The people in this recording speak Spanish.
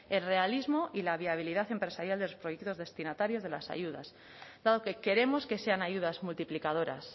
el realismo y la viabilidad empresarial de los proyectos destinatarios de las ayudas claro que queremos que sean ayudas multiplicadoras